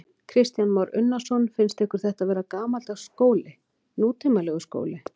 Kristján Már Unnarsson: Finnst ykkur þetta vera gamaldags skóli, nútímalegur skóli?